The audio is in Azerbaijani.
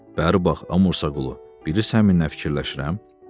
"Bəri bax, Mursaqulu, bilirsən mən nə fikirləşirəm?